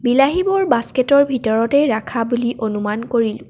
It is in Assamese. বিলাহীবোৰ বাস্কেটৰ ভিতৰতে ৰাখা বুলি অনুমান কৰিলোঁ।